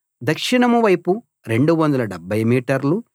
దక్షిణం వైపు 270 మీటర్లు